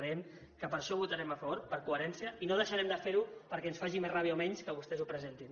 creiem que per això hi votarem a favor per coherència i no deixarem de fer ho perquè ens faci més ràbia o menys que vostès ho presentin